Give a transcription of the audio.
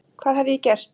Hvað hef ég gert?